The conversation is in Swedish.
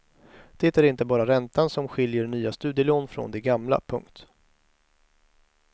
Det är inte bara räntan som skiljer nya studielån från de gamla. punkt